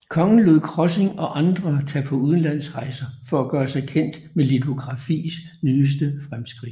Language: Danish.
Kongen lod Krossing og andre tage på udlandsrejser for at gøre sig kendt med litografis nyeste fremskridt